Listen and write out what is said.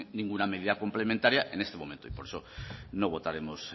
ninguna medida complementaria en este momento y por eso no votaremos